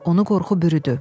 Onu qorxu bürüdü.